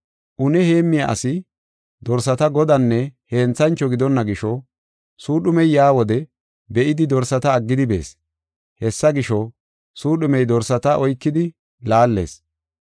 Une heemmiya asi dorsata godanne henthancho gidonna gisho suudhumey yaa wode be7idi dorsata aggidi bees. Hessa gisho, suudhumey dorsata oykidi laallees.